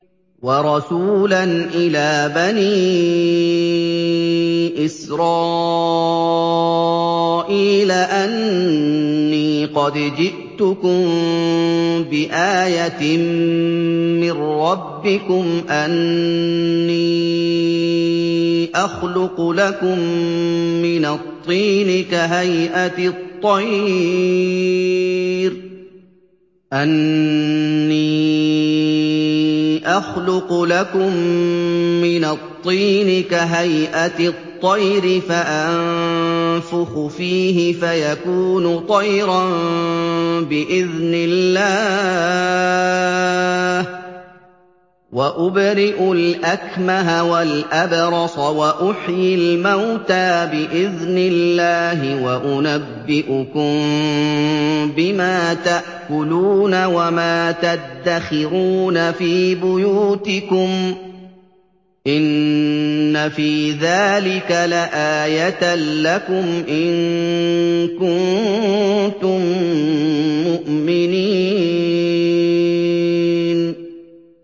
وَرَسُولًا إِلَىٰ بَنِي إِسْرَائِيلَ أَنِّي قَدْ جِئْتُكُم بِآيَةٍ مِّن رَّبِّكُمْ ۖ أَنِّي أَخْلُقُ لَكُم مِّنَ الطِّينِ كَهَيْئَةِ الطَّيْرِ فَأَنفُخُ فِيهِ فَيَكُونُ طَيْرًا بِإِذْنِ اللَّهِ ۖ وَأُبْرِئُ الْأَكْمَهَ وَالْأَبْرَصَ وَأُحْيِي الْمَوْتَىٰ بِإِذْنِ اللَّهِ ۖ وَأُنَبِّئُكُم بِمَا تَأْكُلُونَ وَمَا تَدَّخِرُونَ فِي بُيُوتِكُمْ ۚ إِنَّ فِي ذَٰلِكَ لَآيَةً لَّكُمْ إِن كُنتُم مُّؤْمِنِينَ